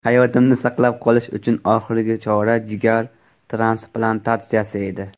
Hayotimni saqlab qolish uchun oxirgi chora jigar transplantatsiyasi edi.